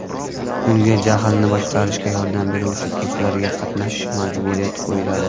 Unga jahlni boshqarishga yordam beruvchi kurslarga qatnashish majburiyati qo‘yiladi.